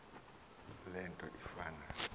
le nto ifana